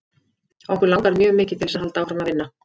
Okkur langar mjög mikið til þess að halda áfram að vinna.